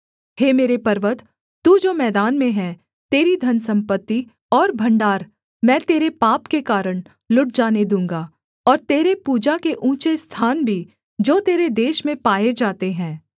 हे मेरे पर्वत तू जो मैदान में है तेरी धनसम्पत्ति और भण्डार मैं तेरे पाप के कारण लुट जाने दूँगा और तेरे पूजा के ऊँचे स्थान भी जो तेरे देश में पाए जाते हैं